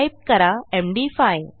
type करा MD five